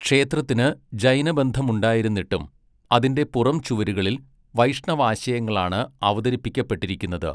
ക്ഷേത്രത്തിന് ജൈനബന്ധമുണ്ടായിരുന്നിട്ടും, അതിൻ്റെ പുറംചുവരുകളിൽ വൈഷ്ണവാശയങ്ങളാണ് അവതരിപ്പിക്കപ്പെട്ടിരിക്കുന്നത് .